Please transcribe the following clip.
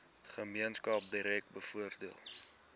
gemeenskap direk bevoordeel